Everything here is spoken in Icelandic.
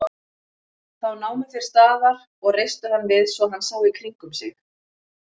Þá námu þeir staðar og reistu hann við svo hann sá í kringum sig.